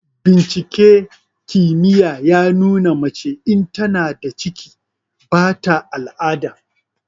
Binciken kimiyya ya nuna mace in tana da ciki ba ta al'ada.